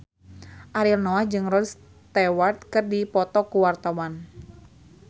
Ariel Noah jeung Rod Stewart keur dipoto ku wartawan